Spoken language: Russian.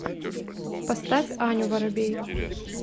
поставь аню воробей